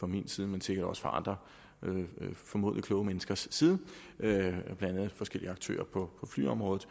min side men sikkert også fra andre formodentlig kloge menneskers side blandt andet forskellige aktører på flyområdet